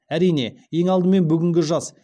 әрине ең алдымен бүгінгі жас